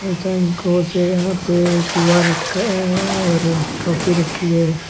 यहां पे क्यू_अर रखा है और ट्राफी रखी है।